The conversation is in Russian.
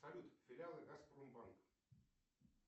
салют филиалы газпром банк